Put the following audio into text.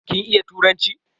Kin iya turanci?